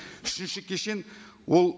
үшінші кешен ол